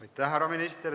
Aitäh, härra minister!